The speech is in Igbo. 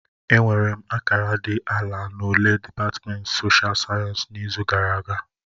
Enwere m akara dị ala na ule dịpatmenti soshial sayensị n'izu gara aga